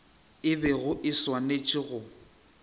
e bego e swanetše go